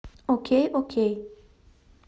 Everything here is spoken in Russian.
окей окей